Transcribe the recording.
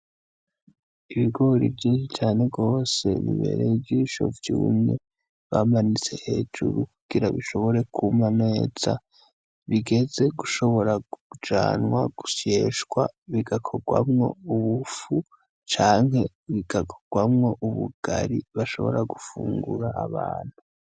Ibigori vyiza cane rwose bibereye ijisho vyumye, bamanitse hejuru kugira bishobore kuma neza. Bigeze gushobora kujanwa gusyeshwa, bigakorwamwo ubufu canke bigakorwamwo ubugari bashobora gufungura abantu.